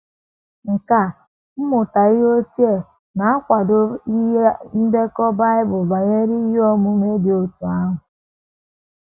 Nkà mmụta ihe ochie na - akwado ihe ndekọ Bible banyere ihe omume dị otú ahụ.